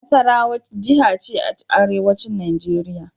Nasarawa jiha ce a arewacin Nijeriya.